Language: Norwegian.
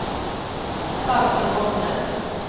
Dagny Rogne